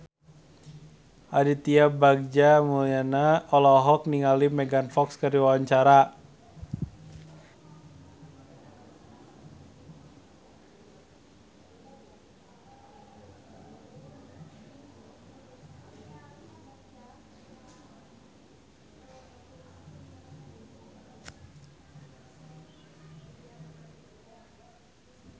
Aditya Bagja Mulyana olohok ningali Megan Fox keur diwawancara